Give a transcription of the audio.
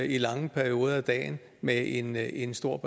i lange perioder af dagen med en en stor